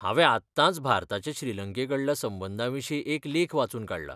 हांवें आत्तांच भारताचे श्रीलंकेकडल्या संबंदांविशीं एक लेख वाचून काडला.